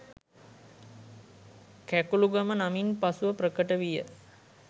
කැකුළුගම නමින් පසුව ප්‍රකට විය